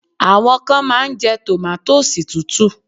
Àwọn kan máa ń jẹ́ tòmátósì tútù.